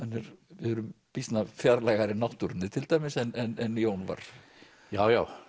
við erum býsna fjarlægari náttúrunni til dæmis en Jón var já já